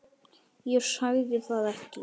Ég sagði það ekki.